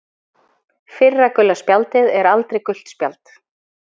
Fyrra gula spjaldið er aldrei gult spjald.